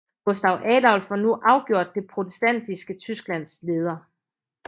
Gustav Adolf var nu afgjort det protestantiske Tysklands leder